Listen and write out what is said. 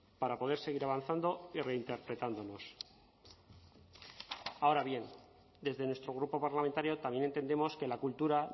para poder seguir avanzando y reinterpretándonos ahora bien desde nuestro grupo parlamentario también entendemos que la cultura